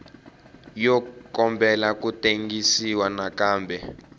yo kombela ku tengisiwa nakambe